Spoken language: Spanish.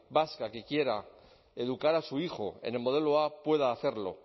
vasca que quiera educar a su hijo en el modelo a pueda hacerlo